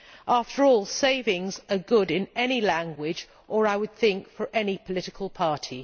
After all, savings are good in any language or, I would think, for any political party.